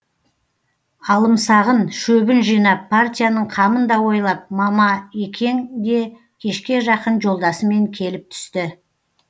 алымсағын шөбін жинап партияның қамын да ойлап мамаекең де кешке жақын жолдасымен келіп түсті